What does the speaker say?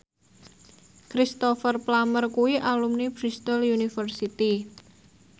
Cristhoper Plumer kuwi alumni Bristol university